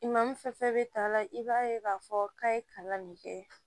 I ma min fɛn fɛn bɛ ta a la i b'a ye k'a fɔ k'a ye kalan min kɛ